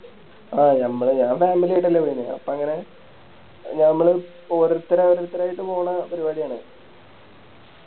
ആ ഞമ്മള് ഞാ Family ആയിട്ടല്ലേ പോയത് അപ്പൊ അങ്ങനെ ഞമ്മള് ഓരോരുത്തര് ഓരോരുത്തര് ആയിട്ട് പോണേ പരിപാടിയാണ്